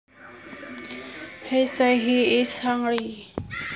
He says he is hungry